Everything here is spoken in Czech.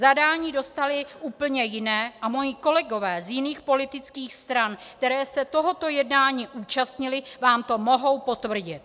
Zadání dostali úplně jiné a moji kolegové z jiných politických stran, které se tohoto jednání účastnily, vám to mohou potvrdit.